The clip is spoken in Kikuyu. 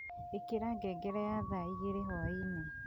ikira ngengere ya thaa igiri hwaini